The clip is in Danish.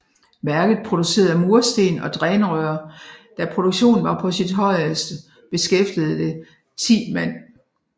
Værket producerede mursten og drænrør Da produktionen var på sit højeste beskæftigede det 10 mand